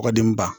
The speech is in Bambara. Kɔkɔdenba